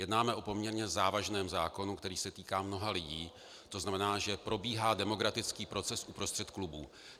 Jednáme o poměrně závažném zákonu, který se týká mnoha lidí, to znamená, že probíhá demokratický proces uprostřed klubů.